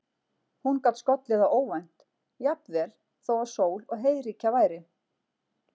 Hún gat skollið á óvænt, jafnvel þó að sól og heiðríkja væri.